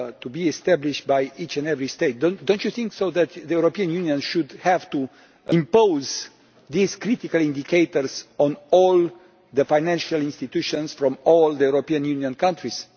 be established by each and every state, do you not think that the European Union should have to impose these critical indicators on all the financial institutions in all the European Union countries?